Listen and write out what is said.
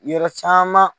Yɔrɔ caman